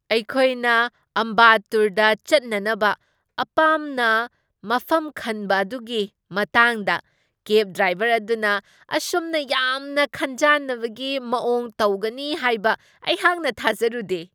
ꯑꯩꯈꯣꯏꯅ ꯑꯝꯕꯥꯠꯇꯨꯔꯗ ꯆꯠꯅꯅꯕ ꯑꯄꯥꯝꯅ ꯃꯐꯝ ꯈꯟꯕ ꯑꯗꯨꯒꯤ ꯃꯇꯥꯡꯗ ꯀꯦꯕ ꯗ꯭ꯔꯥꯏꯕꯔ ꯑꯗꯨꯅ ꯑꯁꯨꯝꯅ ꯌꯥꯝꯅ ꯈꯟꯖꯥꯟꯅꯕꯒꯤ ꯃꯋꯣꯡ ꯇꯧꯒꯅꯤ ꯍꯥꯏꯕ ꯑꯩꯍꯥꯛꯅ ꯊꯥꯖꯔꯨꯗꯦ ꯫